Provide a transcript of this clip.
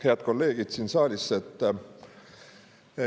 Head kolleegid siin saalis!